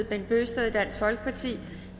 bent bøgsted